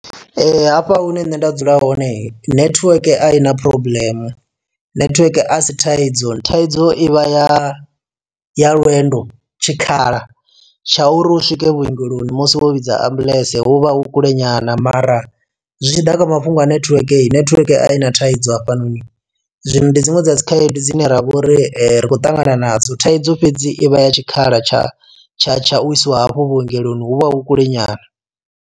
Hafha hune nṋe nda dzula hone nethiweke a i na problem nethiweke a si thaidzo thaidzo i vha ya ya lwendo tshikhala tsha uri hu swike vhuongeloni musi wo vhidza ambuḽentse hu vha hu kule nyana mara zwitshiḓa kha mafhungo a netiweke netiweke i na thaidzo hafhanoni. Zwino ndi dziṅwe dza dzi khaedu dzine ravha uri ri khou ṱangana nadzo thaidzo fhedzi i vha ya tshikhala tsha tsha tsha u isiwa hafho vhuongeloni hu vha hu kule nyana.